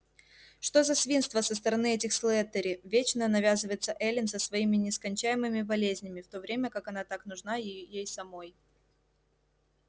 что за свинство со стороны этих слэттери вечно навязываться эллин со своими нескончаемыми болезнями в то время как она так нужна ей самой